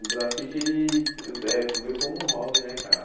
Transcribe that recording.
O grafite, ele ve eh veio como um hobby, né, cara?